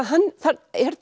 hann er